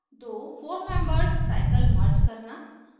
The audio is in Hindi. दो four membered साइकिल merge करना